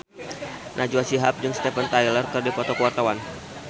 Najwa Shihab jeung Steven Tyler keur dipoto ku wartawan